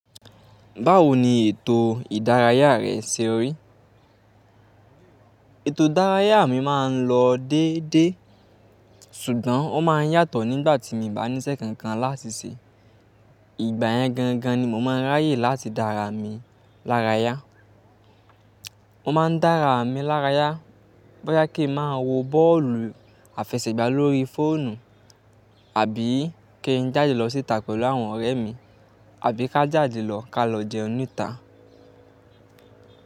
Báwo ni ètò ìdárayá rẹ ṣe rí? Ètò ìdárayá mi máa ń lọ dédé, ṣùgbọ́n ó máa ń yàtọ̀ nígbà tí mo bá níṣẹ́ kankan láti ṣe. Ìgbà yẹn gangan ni mo máa ń ráyè láti dára mi lára yá. Mo máa ń dára mi lára yá bọ́ya ki máa wo bọ́ọ̀lù àfẹsẹ̀gbá lórí fóònù àbí kí n jáde lọ síta pẹ̀lú àwọn ọ̀rẹ́ mi, àbí ká jáde lọ ká lọ jẹun níta.